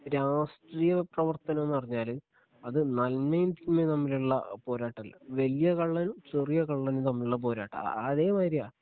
രാഷ്ട്രീയപ്രവർത്തനംന്ന് പറഞ്ഞാല് അത് നന്മയും തിന്മയും തമ്മിലുള്ള പോരാട്ടമല്ല വല്ല്യ കള്ളനും ചെറിയ കള്ളനും തമ്മിലുള്ള പോരാട്ടമാ അതേമാതിരിയാ